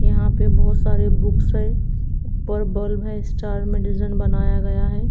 यहां पर बहुत सारे बुक्स है। ऊपर बल्ब है। स्टार में डिजाइन बनाया गया है।